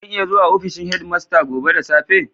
Zan iya zuwa ofishin headmaster gobe da safe?